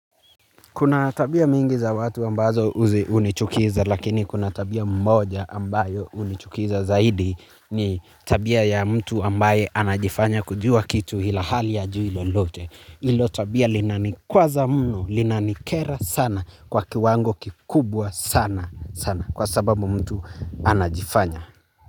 Kuna tabia mingi za watu ambazo uzi hunichukiza lakini kuna tabia moja ambayo hunichukiza zaidi. Ni tabia ya mtu ambaye anajifanya kujua kitu ilhali hajui lolote. Hilo tabia linanikwaza mno, linanikera sana kwa kiwango kikubwa sana sana kwa sababu mtu anajifanya.